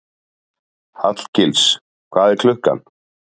Hallgils, hvað er klukkan?